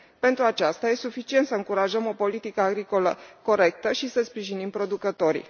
Pentru aceasta, este suficient să încurajăm o politică agricolă corectă și să sprijinim producătorii.